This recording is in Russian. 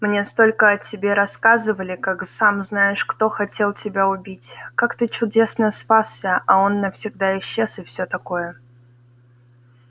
мне столько о тебе рассказывали как сам-знаешь-кто хотел тебя убить как ты чудесно спасся а он навсегда исчез и всё такое